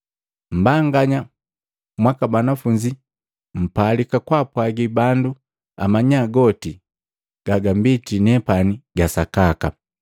Mmbanganya mwaka banafunzi mpalika kwaapwagi bandu amanya goti gagambiti nepane gasakaka.